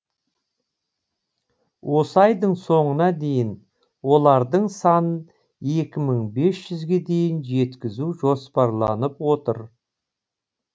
осы айдың соңына дейін олардың санын екі мың бес жүзге дейін жеткізу жоспарланып отыр